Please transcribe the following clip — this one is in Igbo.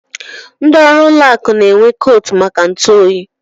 Ndị ọrụ ụlọ akụ n'enwe koot maka ntụ oyi.